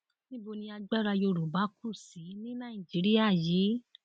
níbo ni agbára yorùbá kù sí ní nàìjíríà yìí